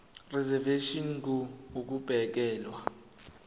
reservation ngur ukubekelwa